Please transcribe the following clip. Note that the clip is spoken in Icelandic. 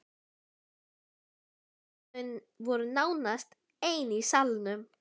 Kosturinn var að þau voru nánast ein í salnum.